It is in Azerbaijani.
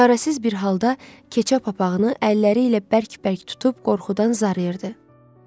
Çarəsiz bir halda keçə papağını əlləri ilə bərk-bərk tutub qorxudan zarırdı.